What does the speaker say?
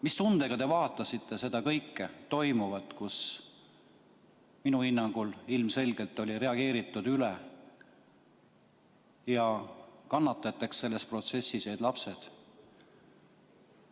Mis tundega te vaatasite kõike toimuvat, kus minu hinnangul ilmselgelt reageeriti üle ja kannatajateks selles protsessis jäid lapsed?